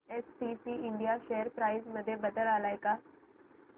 STC India share price मध्ये बदल आलाय का